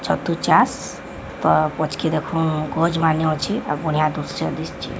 ଛତୁ ଚାଷ ପଛ କେ ଦେଖୁ କୋଜ୍ ମାନେ ଅଛି ଆଉ ପୁନି ଦୂସରେ ଦିସଛି।